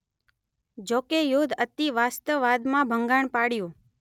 જોકે યુદ્ધ અતિવાસ્તવાદમાં ભંગાણ પાડયું